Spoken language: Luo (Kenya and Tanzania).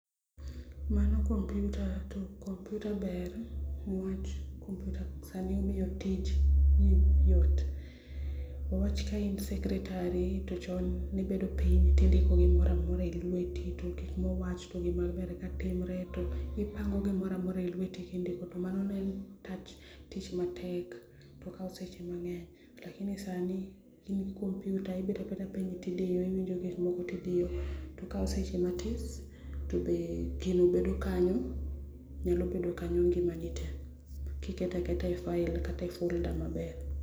Mano kompyuta to kompyuta ber ni wach kompyuta sani miyo tich yot ni wach ka in secretary to chon ni ibedo piny to indiko gi moro amora e lweti to gi ma wach to gi maber katimre to ipango gi moro amora e lweti ki indiko, to mano ne en tich matek to okao seche mang'eny lakini sani in gi kompyuta ibet abeta piny to idiyo iwinyo gik moko to idiyo to okawo seche matis to gi ni bedo kanyo, nyalo bedo kanyo ngima ni tee ki iketo aketa e file kata e folder maber Mano kompyuta to kompyuta ber ni wach kompyuta sani miyo tich yot, Wawach ka in secretary to chon ni ibedo piny to indiko gi moro amora e lweti to gi ma wach to gi maber katimre to ipango gi moro amora e lweti ki indiko, to mano ne en tich matek to okao seche mang'eny. Lakini sani in gi kompyuta ibet abeta piny to idiyo iwinyo gik moko to idiyo to okawo seche matis to gi ni bedo kanyo, nyalo bedo kanyo ngima ni tee ki iketo aketa e file kata e folder maber